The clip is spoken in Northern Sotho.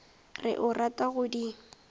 re o rata go di